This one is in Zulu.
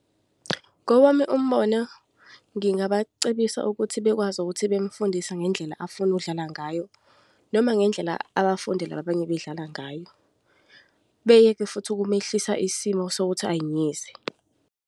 Ngowami umbono, ngingabacebisa ukuthi bekwazi ukuthi bemufundisa ngendlela afuna ukudlala ngayo, noma ngendlela abafundi laba abanye bedlala ngayo. Beyeke futhi ukumehlisa isimo sokuthi ay'nyeze.